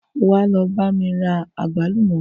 Wà á lọ bá mí ra àgbálúmọ̀.